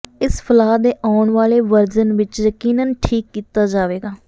ਇਸ ਫਲਾਅ ਦੇ ਆਉਣ ਵਾਲੇ ਵਰਜਨ ਵਿੱਚ ਯਕੀਨਨ ਠੀਕ ਕੀਤਾ ਜਾਵੇਗਾ